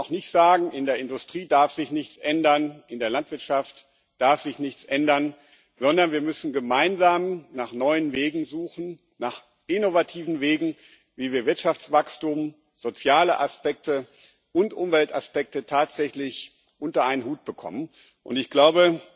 Man kann auch nicht sagen In der Industrie darf sich nichts ändern, in der Landwirtschaft darf sich nichts ändern, sondern wir müssen gemeinsam nach neuen Wegen suchen nach innovativen Wegen wie wir Wirtschaftswachstum, soziale Aspekte und Umweltaspekte tatsächlich unter einen Hut bekommen. Ich glaube,